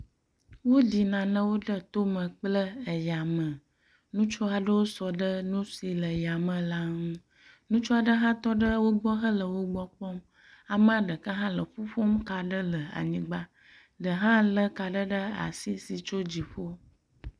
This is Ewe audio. Woɖi nanewo ɖe tome kple yame. Ŋutsu aɖewo sɔ ɖe nu si le yame la ŋu. Ŋutsu aɖe hã tɔ ɖe wo gbɔ hele wo gbɔ kpɔm. Ame ɖeka hã le ƒuƒom ka aɖe le anyigba. Ɖe hã lé ka aɖe ɖe asi si tso dziƒo.